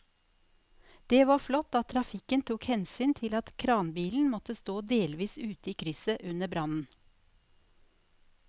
Det var flott at trafikken tok hensyn til at kranbilen måtte stå delvis ute i krysset under brannen.